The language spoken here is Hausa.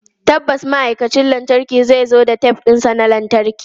Tabbas ma'aikacin lantarkin zai zo da tef ɗinsa na lantarki.